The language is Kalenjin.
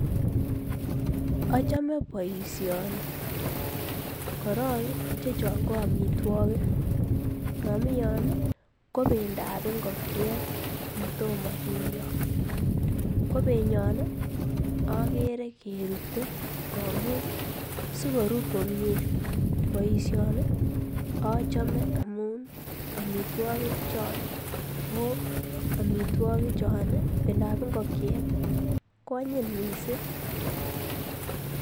Achame boisioni korong ii ichechaan ko amitwagiik, mamii Yoon ii ko bendo ab ingokekiet ne tomah kityoi ko benyaan agere kerutee sikorur komyei boisioni Achame amun amitwagiik choon ii bendo ab ingokekiet ii ko anyiiny missing.